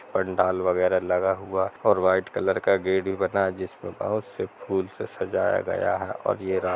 पंडाल वगेरा लगा हुआ और व्हाइट कलर का गेट भी बना । जिसमे बहुत से फुल से सजाया गया हैऔर ये रात --